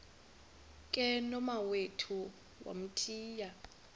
ke nomawethu wamthiya